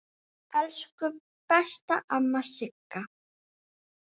Elsku besta amma Sigga.